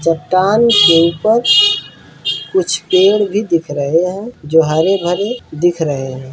चट्टान के ऊपर कुछ पेड़ भी दिख रहे हैं जो हरे भरे दिख रहे हैं।